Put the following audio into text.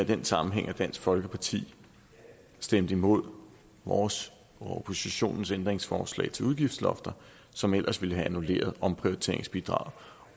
den sammenhæng at dansk folkeparti stemte imod vores og oppositionens ændringsforslag til udgiftslofter som ellers ville have annulleret omprioriteringsbidraget